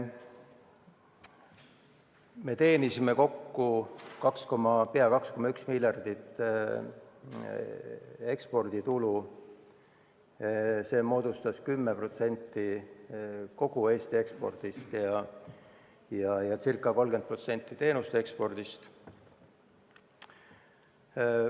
Me teenisime kokku peaaegu 2,1 miljardit eurot eksporditulu, see moodustas 10% kogu Eesti ekspordist ja ca 30% teenuste ekspordist.